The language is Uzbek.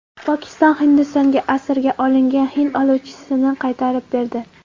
Pokiston Hindistonga asirga olingan hind uchuvchisini qaytarib berdi.